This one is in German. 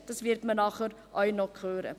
Dies wird man dann noch hören.